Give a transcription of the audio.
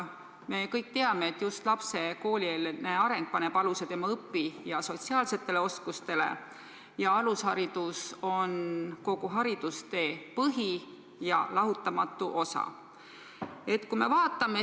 Me kõik teame, et just lapse koolieelne areng paneb aluse tema õpi- ja sotsiaalsetele oskustele, alusharidus on kogu haridustee põhi- ja lahutamatu osa.